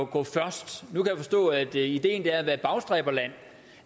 gå forrest nu kan jeg forstå at ideen er at være et bagstræberland